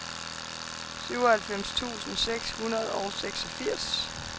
syvoghalvfems tusind seks hundrede og seksogfirs